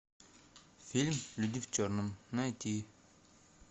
фильм люди в черном найти